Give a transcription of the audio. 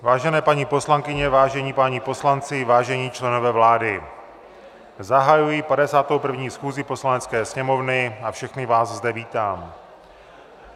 Vážené paní poslankyně, vážení páni poslanci, vážení členové vlády, zahajuji 51. schůzi Poslanecké sněmovny a všechny vás zde vítám.